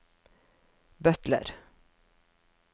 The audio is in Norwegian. butler